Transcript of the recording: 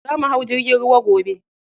Za mu hau jirgin ruwa gobe.